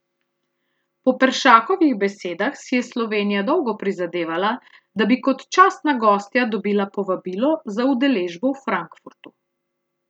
Po Peršakovih besedah si je Slovenija dolgo prizadevala, da bi kot častna gostja dobila povabilo za udeležbo v Frankfurtu.